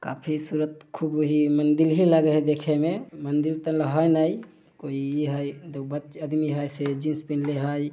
काफी सूरत खूब ही मंदिर ही लागे है देखे में मंदिर कोई इ हेय देखो बच्च आदमी हेय से जीन्स पीहनले हेय ।